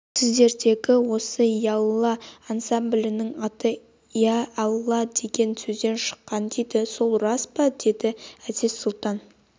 сіздердегі осы ялла ансамблінің аты иә алла деген сөзден шыққан дейді сол рас па деді әзиз-сұлтан